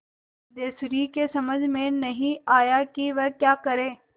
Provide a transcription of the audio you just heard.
सिद्धेश्वरी की समझ में नहीं आया कि वह क्या करे